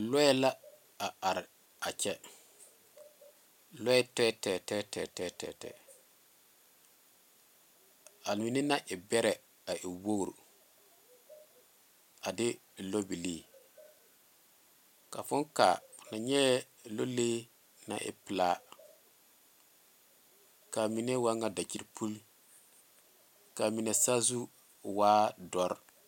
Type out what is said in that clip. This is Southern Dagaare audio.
Lɔɛ la a are a kyɛ lɔɛ tɛɛtɛɛ tɛɛtɛɛ tɛɛtɛɛ tɛɛtɛɛ tɛɛtɛɛ tɛɛtɛɛ a mine naŋ e bɛrɛ a e wogiri a de lɔbilii ka fôô kaa fo na nyɛ lɔlee naŋ e pelaa kaa mine waa ŋa dakyerey gbul kaa mine saazu waa dɔre